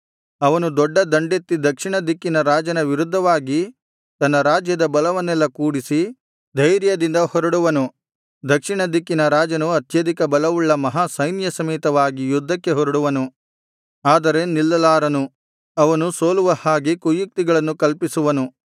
ಅವನು ದೊಡ್ಡ ದಂಡೆತ್ತಿ ದಕ್ಷಿಣ ದಿಕ್ಕಿನ ರಾಜನ ವಿರುದ್ಧವಾಗಿ ತನ್ನ ರಾಜ್ಯದ ಬಲವನ್ನೆಲ್ಲ ಕೂಡಿಸಿ ಧೈರ್ಯದಿಂದ ಹೊರಡುವನು ದಕ್ಷಿಣ ದಿಕ್ಕಿನ ರಾಜನು ಅತ್ಯಧಿಕ ಬಲವುಳ್ಳ ಮಹಾ ಸೈನ್ಯಸಮೇತನಾಗಿ ಯುದ್ಧಕ್ಕೆ ಹೊರಡುವನು ಆದರೆ ನಿಲ್ಲಲಾರನು ಅವನು ಸೋಲುವ ಹಾಗೆ ಕುಯುಕ್ತಿಗಳನ್ನು ಕಲ್ಪಿಸುವನು